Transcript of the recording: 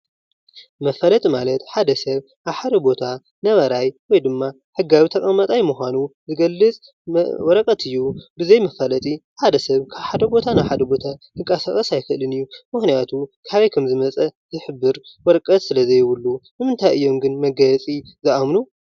መፋለጢ ማለት ሓደ ሰብ ኣብ ሓደ ቦታ ነባራይ ወይ ድማ ሕጋዊ ተቀማጠይ ምኳኑ ዝገልፅ ወረቀት እዩ፡፡ ብዘይ መፋለጢ ሓደ ሰብ ካብ ሓደ ቦታ ናብ ሓደ ቦታ ክንቀሳቀስ ኣይክእልን እዩ፡፡ ምክንያቱ ካበይ ከም ዝመፀ ዝሕብር ወረቀት ስለ ዘየብሉ። ንምንታይ እዮም ግን መጋየፂ ዝኣምኑ?